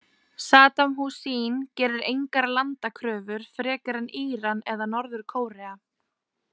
Saddam Hussein gerir engar landakröfur, frekar en Íran eða Norður- Kórea.